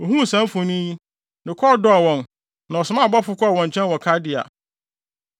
Ohuu saa mfoni yi, ne kɔn dɔɔ wɔn na ɔsomaa abɔfo kɔɔ wɔn nkyɛn wɔ Kaldea.